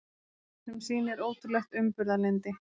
Sem sýnir ótrúlegt umburðarlyndi.